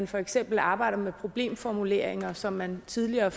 for eksempel arbejder med problemformuleringer som man tidligere